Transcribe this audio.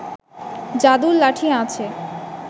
যাদুর লাঠি আছে